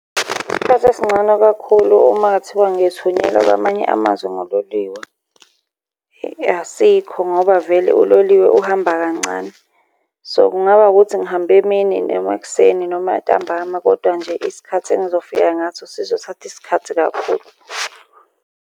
Isikhathi esigcono kakhulu uma kungathiwa ngithunyelwa kwamanye amazwe ngololiwe, asikho ngoba vele uloliwe uhamba kancane. So, kungaba wukuthi ngihambe emini, noma ekuseni, noma ntambama, kodwa nje isikhathi engizofika ngaso sizothatha isikhathi kakhulu.